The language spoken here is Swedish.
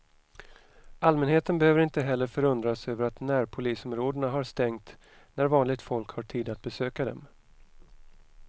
Allmänheten behöver inte heller förundras över att närpolisområdena har stängt när vanligt folk har tid att besöka dem.